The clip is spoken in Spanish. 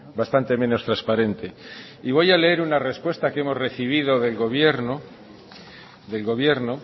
bastante menos transparente y voy a leer una respuesta que hemos recibido del gobierno